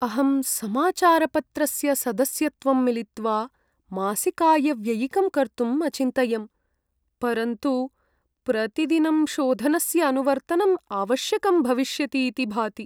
अहं समाचारपत्रस्य सदस्यत्वं मिलित्वा मासिकायव्ययिकं कर्तुम् अचिन्तयं, परन्तु प्रतिदिनं शोधनस्य अनुवर्तनं आवश्यकं भविष्यतीति भाति।